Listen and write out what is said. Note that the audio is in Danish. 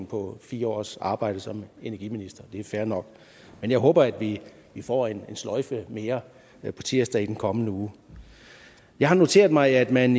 på fire års arbejde som energiminister det er fair nok men jeg håber at vi får en sløjfe mere på tirsdag i den kommende uge jeg har noteret mig at man